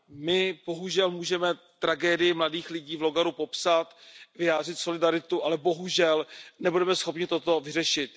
My bohužel můžeme tragédii mladých lidí v Logaru popsat, vyjádřit solidaritu, ale bohužel nebudeme schopni toto vyřešit.